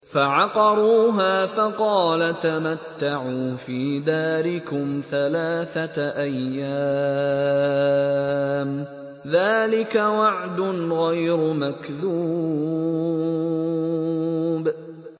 فَعَقَرُوهَا فَقَالَ تَمَتَّعُوا فِي دَارِكُمْ ثَلَاثَةَ أَيَّامٍ ۖ ذَٰلِكَ وَعْدٌ غَيْرُ مَكْذُوبٍ